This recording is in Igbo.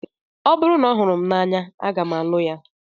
Ọ bụrụ na ọ hụrụ m n'anya, aga m alụ ya